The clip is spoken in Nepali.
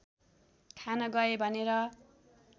खान गए भनेर